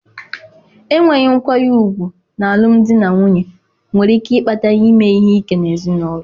Enweghị nkwanye ùgwù n'alụmdi na nwunye nwere ike ịkpata ime ihe ike n'ezinụlọ.